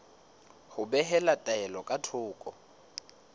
ho behela taelo ka thoko